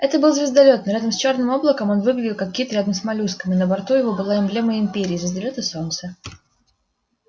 это был звездолёт но рядом с чёрным облаком он выглядел как кит рядом с моллюском и на борту его была эмблема империи звездолёт и солнце